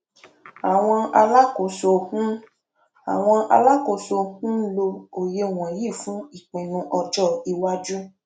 àwọn alákòóso ń àwọn alákòóso ń lò òye wọnyí fún ìpinnu ọjọ iwájú